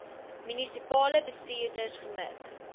munisipale bestuurders gemik